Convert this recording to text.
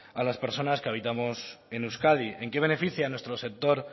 a las personas que habitamos en euskadi en qué beneficia en nuestro sector